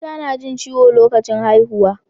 Mata na jin ciwo lokacin haihuwa